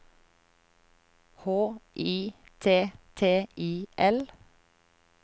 H I T T I L